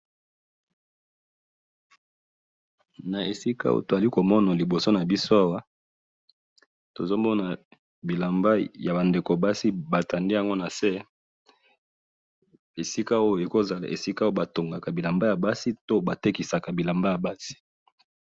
na esika awa tozali komona libso nabiso awa tozomona bilamba ya ba ndeko nya basi batandi yango nase esika oyo ekoki kozala esika batongaka bilambaya basi to batekisaka bilamba ya basi.